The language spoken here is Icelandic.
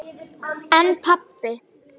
En pabbi.